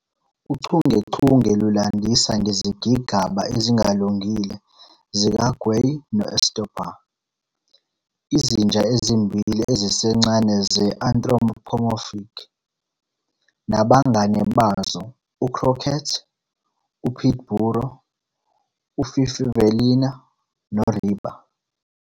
Uchungechunge lulandisa ngezigigaba ezingalungile zikaGui noEstopa, izinja ezimbili ezisencane ze-anthropomorphic nabangane bazo u-Cróquete, u-Pitiburro, u-Fifivelinha no-Riba.